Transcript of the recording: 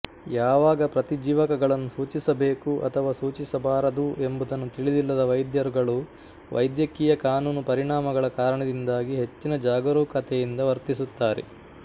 ಯಾವಾಗ ಪ್ರತಿಜೀವಕಗಳನ್ನು ಸೂಚಿಸಬೇಕು ಅಥವಾ ಸೂಚಿಸಬಾರದು ಎಂಬುದನ್ನು ತಿಳಿದಿಲ್ಲದ ವೈದ್ಯರುಗಳು ವೈದ್ಯಕೀಯ ಕಾನೂನು ಪರಿಣಾಮಗಳ ಕಾರಣದಿಂದಾಗಿ ಹೆಚ್ಚಿನ ಜಾಗರೂಕತೆಯಿಂದ ವರ್ತಿಸುತ್ತಾರೆ